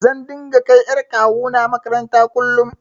Zan dinga kai ƴar kawuna maƙaranta kullum.